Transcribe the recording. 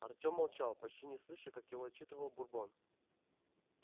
артем молчал почти не слыша как его отчитывал бурбон